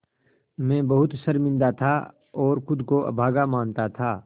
मैं बहुत शर्मिंदा था और ख़ुद को अभागा मानता था